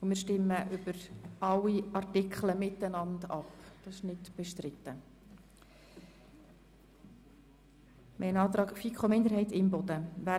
Wir stimmen über alle Artikel zu diesem Antrag der FiKoMinderheit miteinander ab.